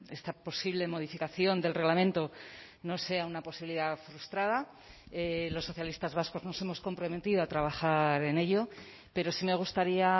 esta posible modificación del reglamento no sea una posibilidad frustrada los socialistas vascos nos hemos comprometido a trabajar en ello pero sí me gustaría